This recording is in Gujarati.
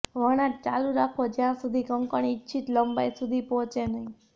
વણાટ ચાલુ રાખો જ્યાં સુધી કંકણ ઇચ્છિત લંબાઈ સુધી પહોંચે નહીં